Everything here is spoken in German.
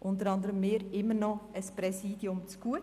unter anderem wir, immer noch ein Präsidium zugute.